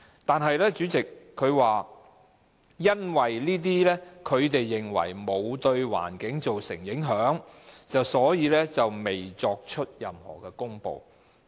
但是，主席，局長又說，因為當局認為該類排放沒有對環境造成影響，所以未作出任何公布。